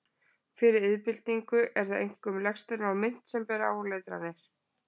Fyrir iðnbyltingu eru það einkum legsteinar og mynt sem bera áletranir.